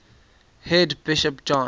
head bishop john